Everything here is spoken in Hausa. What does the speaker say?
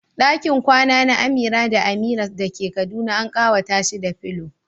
Dakin kwana na Amira da Amina da ke Kaduna an kawata shi da pillow.